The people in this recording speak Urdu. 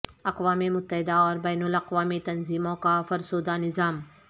اقوام متحدہ اور بین الاقوامی تنظیموں کا فرسودہ نظام